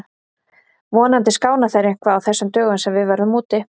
Vonandi skána þeir eitthvað á þessum dögum sem við verðum úti.